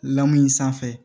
Lamu in sanfɛ